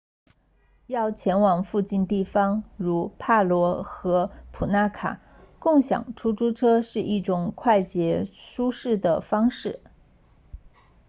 要前往附近地方如帕罗 nu 150和普那卡 nu 200共享出租车是一种快捷舒适的方式